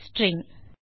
string